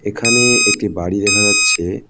এখানে একটি বাড়ি দেখা যাচ্ছে।